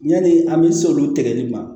Yani an bɛ s'olu tigɛli ma